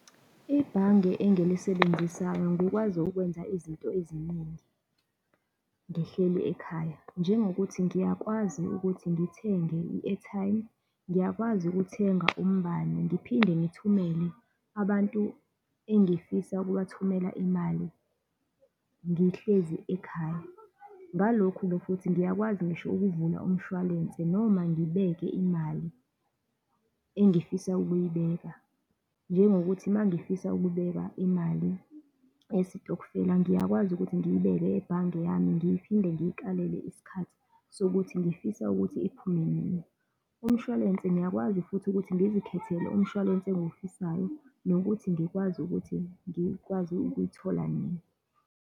Ibhange engilisebenzisayo ngikwazi ukwenza izinto eziningi ngihleli ekhaya, njengokuthi ngiyakwazi ukuthi ngithenge i-airtime, ngiyakwazi ukuthenga umbani, ngiphinde ngithumele abantu engifisa ukubathumela imali, ngihlezi ekhaya. Ngalokhu-ke futhi ngiyakwazi ngisho ukuvula umshwalense, noma ngibeke imali engifisa ukuyibeka, njengokuthi uma ngifisa ukubeka imali yesitokufela, ngiyakwazi ukuthi ngiyibeke ebhange yami, ngiyiphinde ngiyikalele isikhathi sokuthi ngifisa ukuthi iphume nina. Umshwalense ngiyakwazi futhi ukuthi ngizikhethele umshwalense engiwufisayo, nokuthi ngikwazi ukuthi ngikwazi ukuyithola nini.